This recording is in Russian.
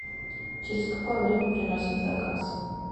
через какое время приносят заказ